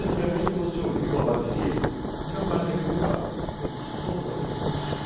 Antigamente, você ouvia uma bateria, Vila Maria, vem vindo lá, você, pelo som da bateria você conhecia.